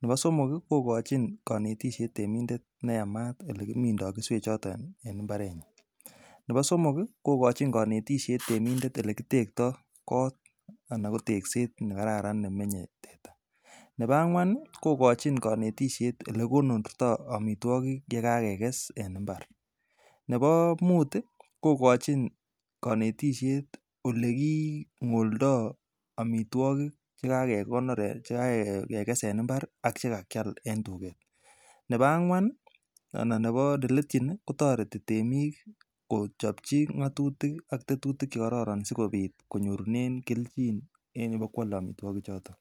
nebo somok kii kokochi konetishet temindet neyamat olekimindo keswek choton en imbarenyin, nebo somok kii komochin konetishet temindet. Olekitekto kot anan ko tekset nekararan olemenye teta nebo angwan nii kokochi konetishet olekonorto omitwokik yakakeges en imbar. Nebo mut tii kokochi konetishet olekingoldo omitwokik chekakekonor chekakeges en imbar ak chekakibal en tuket nebo angwan anan neletyi nii kotoreti temik Kochopchi ngotutik ak tetutik chekororon sikopit konyorunen keljin en yebokwole omitwokik choton.